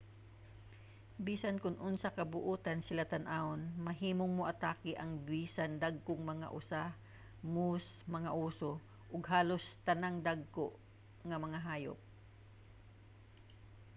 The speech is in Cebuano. bisan kon unsa ka buotan sila tan-awon mahimong moatake ang bison dagkong mga osa moose mga oso ug halos tanang dagko nga mga hayop